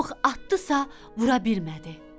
Ox atdısa, vura bilmədi.